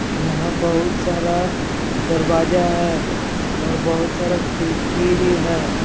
यहाँ बहुत सारा दरवाजा है और बहुत सारा खिड़की भी है ।